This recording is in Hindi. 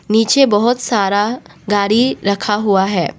नीचे बहोत सारा गाड़ी रखा हुआ है।